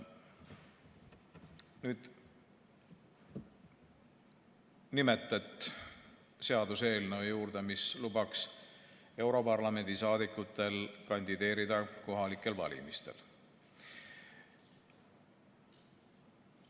Nüüd nimetet seaduseelnõu juurde, mis lubaks europarlamendi saadikutel kandideerida kohalikel valimistel.